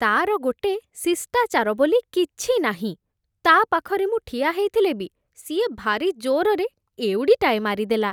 ତା'ର ଗୋଟେ ଶିଷ୍ଟାଚାର ବୋଲି କିଛି ନାହିଁ । ତା' ପାଖରେ ମୁଁ ଠିଆ ହେଇଥିଲେ ବି, ସିଏ ଭାରି ଜୋରରେ ଏଉଡ଼ିଟାଏ ମାରିଦେଲା ।